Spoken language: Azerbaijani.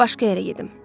Başqa yerə gedim.